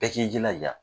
Bɛɛ k'i jilaja